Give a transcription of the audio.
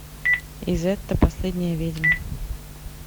изетта последняя ведьма